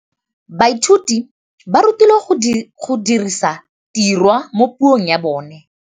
Baithuti ba rutilwe go dirisa tirwa mo puong ya bone.